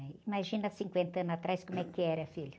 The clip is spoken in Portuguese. Ai, imagina cinquenta anos atrás como é que era, filho.